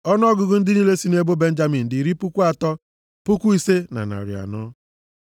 Ọnụọgụgụ ndị niile sị nʼebo Benjamin dị iri puku atọ, puku ise na narị anọ (35,400).